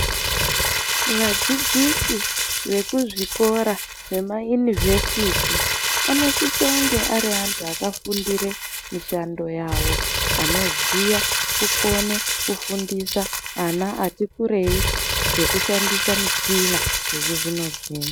Vadzidzisi vekuzvikora zvemayunivhesiti anosisonge ari antu akafundire mishando yawo anoziya kukone kufundisa ana ati kureingekushandisa michina yechizvino zvino.